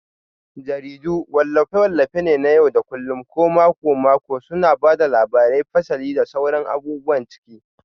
Jaridu wallafe-wallafe ne na yau da kullun ko mako-mako suna ba da labarai, fasali, da sauran abubuwan ciki.